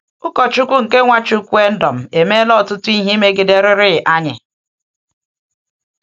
Ụkọchukwu nke NwaChukwuendom emeela ọtụtụ ihe imegiderịrị anyị!